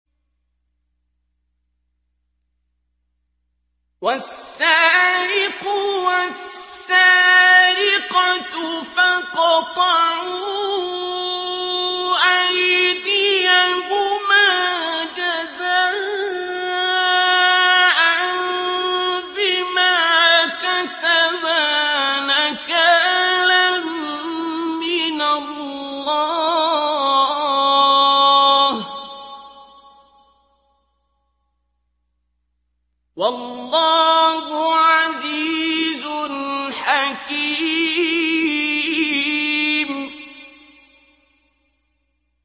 وَالسَّارِقُ وَالسَّارِقَةُ فَاقْطَعُوا أَيْدِيَهُمَا جَزَاءً بِمَا كَسَبَا نَكَالًا مِّنَ اللَّهِ ۗ وَاللَّهُ عَزِيزٌ حَكِيمٌ